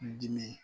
N dimi